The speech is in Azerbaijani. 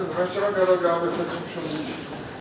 Aydın oldu, məhkəmə qərar qəbul etmək üçün müşavirəyə çəkilir.